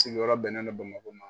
Sigiyɔrɔ bɛnnen don BAMAKO ma.